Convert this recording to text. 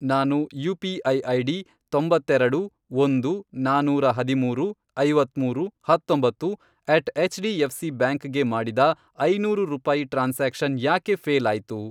ನಾನು UPI. ID, ತೊಂಬತ್ತೆರೆಡು, ಒಂದು, ನಾನೂರ ಹದಿಮೂರು, ಐವತ್ಮೂರು, ಹತ್ತೊಂಬತ್ತು, at H D F C bank ಗೆ ಮಾಡಿದ ಐನೂರು ರೂಪಾಯಿ ಟ್ರಾನ್ಸಾಕ್ಷನ್ ಯಾಕೆ ಫ಼ೇಲ್ ಆಯ್ತು?